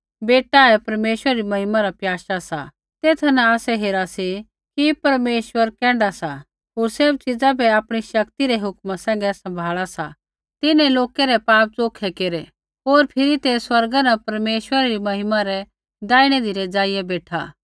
बेटा ही परमेश्वरा री महिमा रा प्याशा सा तेथा न आसै हेरा सी कि परमेश्वर कैण्ढा सा होर सैभ च़ीज़ा बै आपणी शक्ति रै हुक्मा सैंघै सम्भाल़ा सा तिन्हैं लोकै रै पाप च़ोखै केरै होर फिरी तै स्वर्गा न परमेश्वरा री महिमा रै दैहिणी धिरै ज़ाइआ बेठा